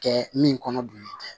Kɛ min kɔnɔ don nin tɛ